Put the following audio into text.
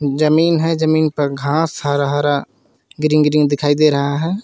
जमीन है जमीन पर घास हरा हरा ग्रीन ग्रीन दिखाई दे रहा है.